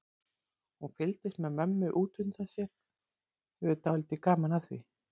Hún fylgist með mömmu út undan sér, hefur dálítið gaman af því.